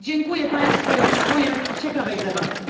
Dziękuję Państwu i oczekuję ciekawej debaty.